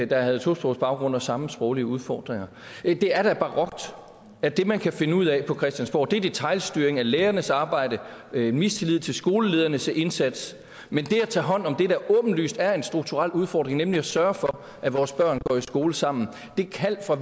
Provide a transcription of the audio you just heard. der havde tosprogsbaggrund og samme sproglige udfordringer det er da barokt at det man kan finde ud af på christiansborg er detailstyring af lærernes arbejde og at have mistillid til skoleledernes indsats mens det at tage hånd om det der åbenlyst er en strukturel udfordring nemlig at sørge for at vores børn går i skole sammen det kald fra